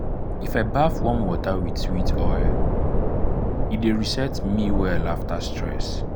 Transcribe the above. if i baff warm water with sweet oil e dey reset me well after stress.